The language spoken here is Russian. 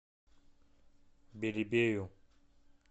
белебею